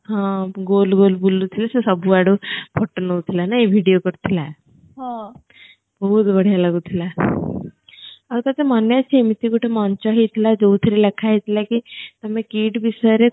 ହଁ ଗୋଲ ଗୋଲ ବୁଲୁ ଥିଲା ସିଏ ସବୁ ଆଡୁ photo ନୋଉ ଥିଲା ନାହିଁ video କରୁ ଥିଲା ବହୁତ ବଢ଼ିଆ ଲାଗୁ ଥିଲା ଆଉ ତତେ ମନ ଅଛି ଏମିତି ଗଟେ ମୋଂଚ ହେଇଥିଲା ଯୋଉ ଥିରେ ଲେଖା ହେଇଥିଲା କି ତମେ KIIT ବିଷୟରେ